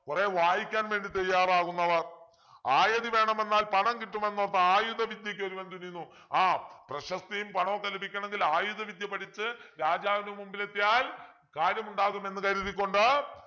കുറെ വായിക്കാൻ വേണ്ടി തയ്യാറാകുന്നവർ ആയത് വേണമെന്നാൽ പണം കിട്ടുമെന്നു പറഞ്ഞിട്ട് ആയുധവിദ്യക്കൊരുവൻ തുനിയുന്നു ആഹ് പ്രശസ്തിയും പണവും ഒക്കെ ലഭിക്കണമെങ്കിൽ ആയുധവിദ്യ പഠിച്ചു രാജാവിൻ്റെ മുമ്പിൽ എത്തിയാൽ കാര്യമുണ്ടാകുമെന്നു കരുതിക്കൊണ്ട്